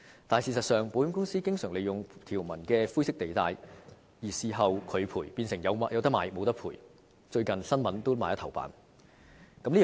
但事實上，保險公司經常利用條文的灰色地帶在事後拒絕賠償，變成"有得買，無得賠"，最近報章也在頭版刊登有關事件。